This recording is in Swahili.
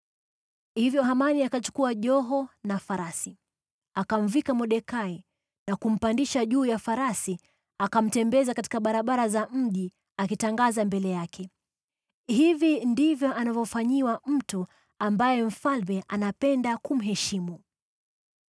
Hivyo Hamani akachukua joho na farasi. Akamvika Mordekai, na kumpandisha juu ya farasi akamtembeza katika barabara za mji akitangaza mbele yake, “Hivi ndivyo anavyofanyiwa mtu ambaye mfalme anapenda kumheshimu!”